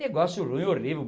Negócio ruim, horrível.